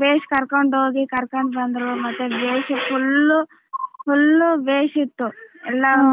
Base ಕರಕೊಂಡ ಹೋಗಿ ಕರಕೊಂಡ ಬಂದ್ರೂ ಮತ್ತೆ ಬೇಸ್ full ಬೇಸ್ ಇತ್ತು ಎಲ್ಲ.